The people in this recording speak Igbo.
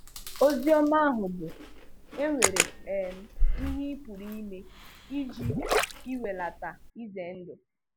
Ozi ọma ahụ bụ, e nwere um ihe ị pụrụ ime iji iwèlàtà ize ndụ.